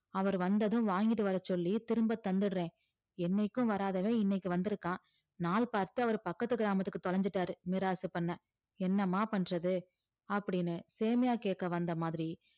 அவர் வந்ததும் வாங்கிட்டு வரச்சொல்லி திரும்ப தந்துடுறேன் என்னைக்கும் வராதவன் இன்னைக்கு வந்திருக்கான் நாள் பார்த்து அவர் பக்கத்து கிராமத்துக்கு தொலைஞ்சிட்டாரு மிராசு பண்ண என்னம்மா பண்றது அப்படின்னு சேமியா கேட்க வந்த மாதிரி